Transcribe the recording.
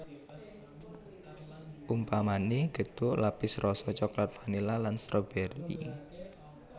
Umpamané gethuk lapis rasa coklat vanila lan strobèri